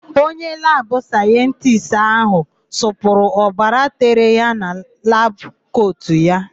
Onye labụ sayentisti áhụ̀ sụpụrụ obara tere ya na labụ kotu ya.